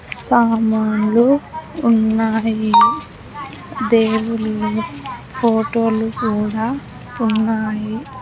సామాన్లు ఉన్నాయి దేవుళ్లు ఫోటోలు కూడా ఉన్నాయి.